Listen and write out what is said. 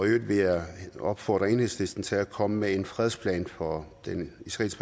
i øvrigt vil jeg opfordre enhedslisten til at komme med en fredsplan for den israelsk